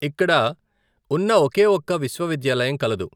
ఇక్కడ ఉన్న ఒకే ఒక విశ్వవిద్యాలయం కలదు.